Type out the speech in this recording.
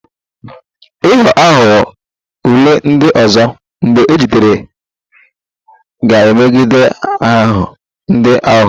Ịghọ aghụghọ ule ndị ọzọ, mgbe ejidere ga-emebi aha ndị aghụghọ